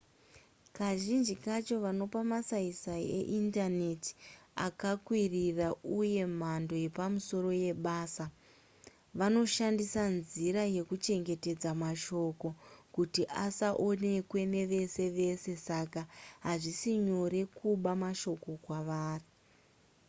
kazhinji kacho vanopa masaisai eindaneti akakwirira uye mhando yepamusoro yebasa vanoshandisa nzira yekuchengetedza mashoko kuti asaonekwe nevese vese saka hazvisi nyore kuba mashoko kwavari